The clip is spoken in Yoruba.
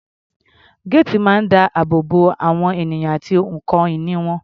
Géètì máa ń dáàbò bo àwọn ènìyàn àti ohun ìní wọn.